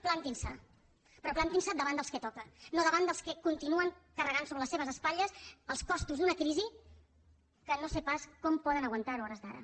plantin se però plantin se davant dels que toca no davant dels que continuen carregant sobre les seves espatlles els costos d’una crisi que no sé pas com poden aguantar ho a hores d’ara